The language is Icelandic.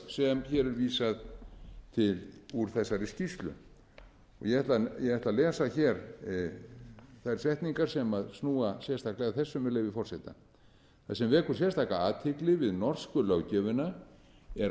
sem hér er vísað til úr þessari skýrslu ég ætla að lesa hér þær setningar sem snúa sérstaklega að þessu með leyfi forseta það sem vekur sérstaka athygli við norsku löggjöfina er